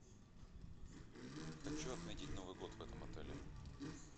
хочу отметить новый год в этом отеле